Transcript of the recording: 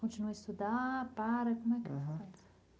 Continua a estudar para como é que foi?